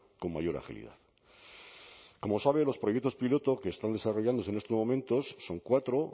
con mayor agilidad como sabe los proyectos piloto que están desarrollándose en estos momentos son cuatro